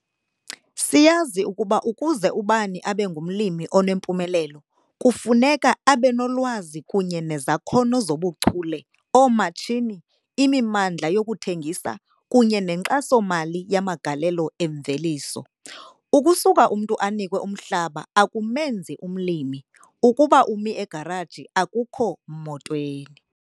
Siyazi ukuba ukuze ubani abe ngumlimi onempumelelo, kufuneka abe nolwazi kunye nezakhono zobuchule, oomatshini, imimandla yokuthengisa kunye nenkxaso-mali yamagalelo emveliso. Ukusuka umntu anikwe umhlaba akumenzi umlimi - ukuba umi egaraji, akukho motweni!